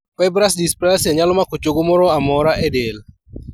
Fibrous dysplasia nyalo mako chogo moramora e del